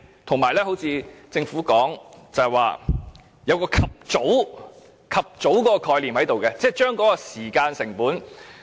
正如政府所說，須有"及早"解決的意識，降低時間成本。